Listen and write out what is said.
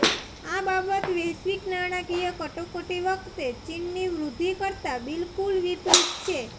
આ બાબત વૈશ્વિક નાણાકીય કટોકટી વખતે ચીનની વૃદ્ધિ કરતાં બિલકુલ વિપરીત છે